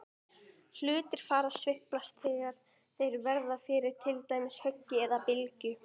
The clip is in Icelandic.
Hlutir fara að sveiflast þegar þeir verða fyrir til dæmis höggi eða bylgju.